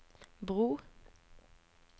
bro